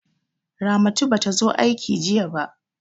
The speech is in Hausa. Ramatu ba ta zo aiki jiya ba.